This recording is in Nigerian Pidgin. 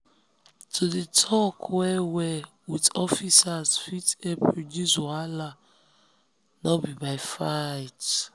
to dey talk well-well with officers fit help reduce wahala no be by fight.